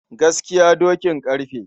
Gaskiya dokin ƙarfe.